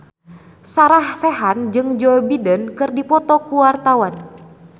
Sarah Sechan jeung Joe Biden keur dipoto ku wartawan